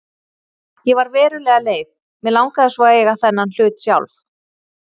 Ég var verulega leið, mig langaði svo að eiga þennan hlut sjálf.